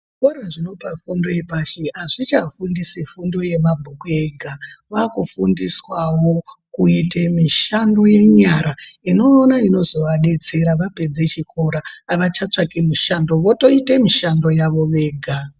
Zvikora zvinopa fundo yepashi azvichafundisi fundo yemabhuku yega zvakufundiswawo kuita mishando yenyara Inova inozovadetsera vapedza chikora ava chatsvaki mishando voita mishando yavo vega.